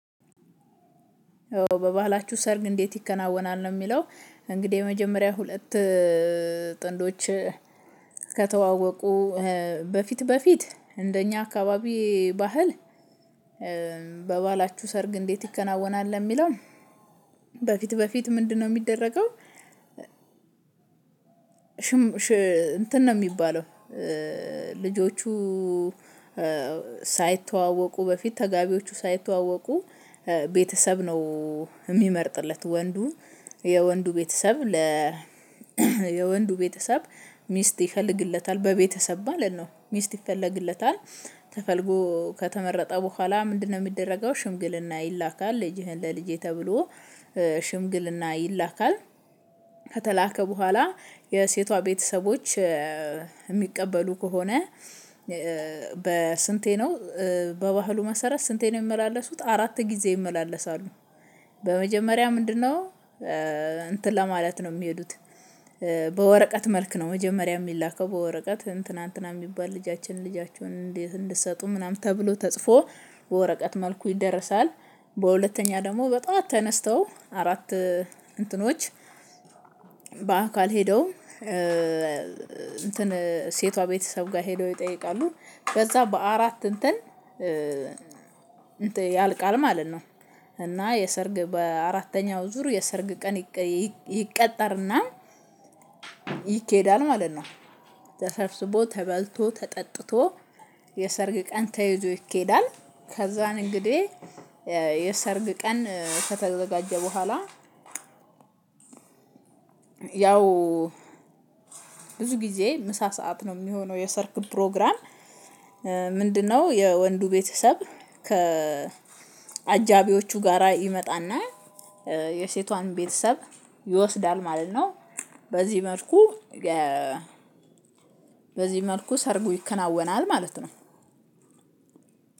በባህላቹሁ ሰርግ እንዴት ይከናወናል ነው? የሚለው እንግዲህ መጀመሪያ ሁለት ጥንዶች ከተዋወቁ በፊት በፊት እንደኛ አካባቢ ባህል። በባህላቹህ ሰርግ እንዴት ይከናወናል የሚለውን በፊት በፊት ምንድነው የሚደረገው? እንትን ነው የሚባለው። ልጆቹ ሳይተዋወቁ በፊት ተጋቢዎቹ ሳይተዋወቁ ቤተሰብ ነው የሚመርጥለት ወንዱ የወንዱ ቤተሰብ ለ የወንዱ ቤተሰብ ሚስት ይፈልግለታል በቤተሰብ ማለት ነው ሚስት ይፈለግለታል። ተፈልጎ ከተመረጠ በኋላ ምንድነው? የሚደረገው ሽምግልና ይላካል ልጅህን ለልጄ ተብሎ ሽምግልና ይላካል። ከተላከ በኋላ የሴቷ ቤተሰቦች የሚቀበሉ ከሆነ በስንቴ ነው? በባህሉ መሰረት ስንቴ ነው የሚመላለሱት አራት ጊዜ ይመላለሳሉ። በመጀመሪያ ምንድነው? እንትን ለማለት ነው የሚሄዱት በወረቀት መልክ ነው መጀመሪያ የሚላከው በወረቀት እንትና እንትና የሚባል ልጃችን ልጃችሁን እንድትሰጡን ምናምን ተብሎ ተጽፎ በወረቀት መልኩ ይደረሳል። በሁለተኛ ደግሞ በጧት ተነስተው አራት እንትኖች በአካል ሄደው እንትን ሴቷ ቤተሰብ ጋር ሄደው ይጠይቃሉ ከዛ በአራት እንትን ያልቃል ማለት ነው። እና የሰርግ በአራተኛው ዙር የሰርግ ቀን ይቀጠርና ይኬዳል ማለት ነው። ተሰብስቦ ተበልቶ ተጠጥቶ የሰርግ ቀን ተይዞ ይኬዳል። ከዛን እንግዲህ የሰርግ ቀን ከተዘጋጀ በኋላ ያው ብዙ ጊዜ ምሳ ሰዓት ነው የሚሆነው የሰርግ ፕሮግራም። ምንድነው? የወንዱ ቤተሰብ ከአጃቢዎቹ ጋራ ይመጣና የሴቷን ቤተሰብ ይወስዳል ማለት ነው። በዚህ መልኩ ሰርጉ ይከናወናል ማለት ነው